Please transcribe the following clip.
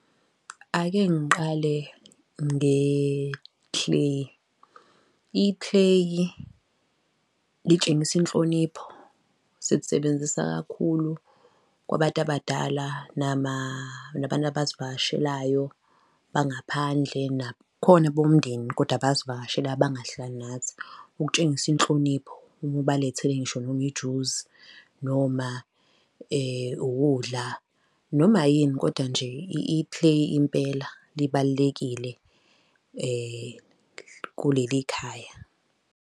Ake ngiqale ngethileyi, ithileyi litshengisa inhlonipho. Silisebenzisa kakhulu kwabantu abadala, nabantu abasivakashelayo bangaphandle nakhona bomndeni, kodwa abasivakashelayo abangahlali nathi, ukutshengisa inhlonipho uma ubalethele ngisho noma ijuzi, noma ukudla noma yini, kodwa nje ithileyi impela libalulekile kuleli ikhaya.